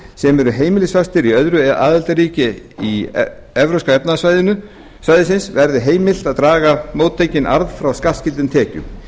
sem eru heimilisfastir í öðru aðildarríki evrópska efnahagssvæðisins verði heimilt að draga móttekinn arð frá skattskyldum tekjum